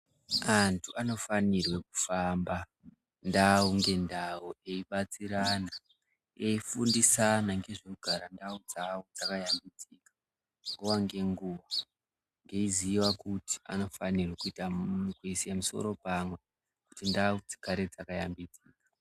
Antu anofanirwe kufamba ndau ngendau eibatsirana eifundisana ngezve kugara ndau dzawo dzakashambidzika eiziva kuti anofanirwa kuisa misoro pamwe kundau dzigare dzakashambidzika.